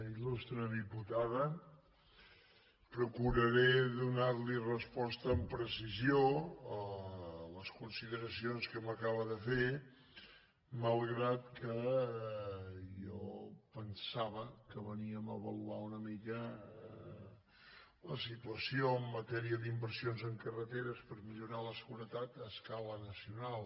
ilnar li resposta amb precisió a les consideracions que m’acaba de fer malgrat que jo pensava que veníem a avaluar una mica la situació en matèria d’inversions en carreteres per millorar la seguretat a escala nacional